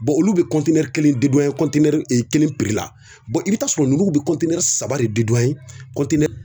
olu bɛ kelen kelen la i bɛ taa sɔrɔ ninnu bɛ saba de